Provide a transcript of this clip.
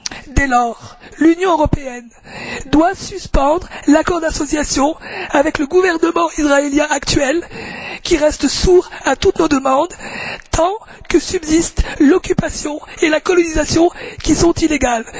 Dès lors, l'Union européenne doit suspendre l'accord d'association avec le gouvernement israélien actuel, qui reste sourd à toutes nos demandes, tant que subsistent l'occupation et la colonisation, qui sont illégales.